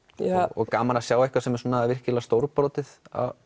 og gaman að sjá eitthvað sem er svona virkilega stórbrotið